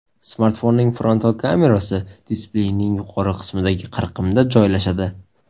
Smartfonning frontal kamerasi displeyning yuqori qismidagi qirqimda joylashadi.